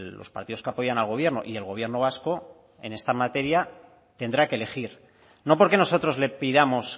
los partidos que apoyan al gobierno y el gobierno vasco en esta materia tendrá que elegir no porque nosotros le pidamos